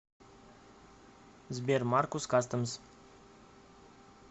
сбер маркус кастэмс